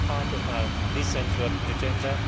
This is part of our decent work agenda.